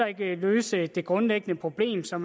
ikke løse det grundlæggende problem som